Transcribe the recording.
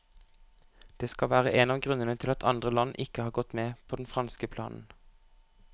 Det skal være en av grunnene til at andre land ikke har gått med på den franske planen.